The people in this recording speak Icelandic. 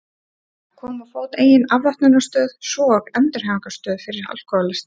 Að koma á fót eigin afvötnunarstöð, svo og endurhæfingarstöð fyrir alkóhólista.